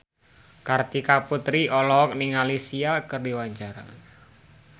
Kartika Putri olohok ningali Sia keur diwawancara